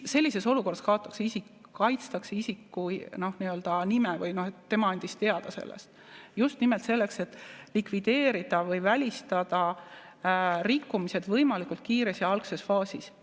Sellises olukorras kaitstakse isikut, nime, et tema andis teada sellest, just nimelt selleks, et likvideerida või välistada rikkumised võimalikult kiiresti ja algses faasis.